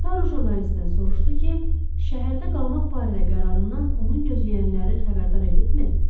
Taro jurnalistdən soruşdu ki, şəhərdə qalmaq barədə qərarından onu gözləyənləri xəbərdar edibmi?